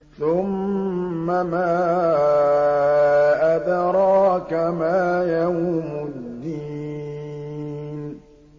ثُمَّ مَا أَدْرَاكَ مَا يَوْمُ الدِّينِ